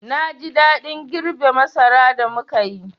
Na ji daɗin girbe masara da muka yi.